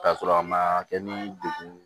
K'a sɔrɔ a ma kɛ ni degun ye